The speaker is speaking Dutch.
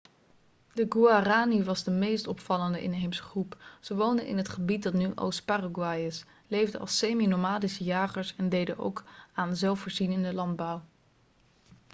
de guaraní was de meest opvallende inheemse groep. ze woonden in het gebied dat nu oost-paraguay is leefden als semi-nomadische jagers en deden ook aan zelfvoorzienende landbouw